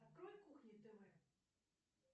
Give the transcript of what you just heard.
открой кухня тв